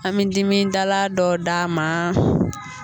An mi dimidala dɔ d'a ma.